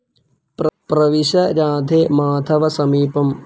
പ്രവിശ രാധേ, മാധവ സമീപം